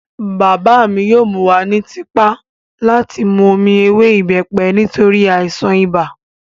Bàbá mi yóò mú wa ní tipá láti mú omi ewé ìbẹ́pẹ nítorí àìsàn ibà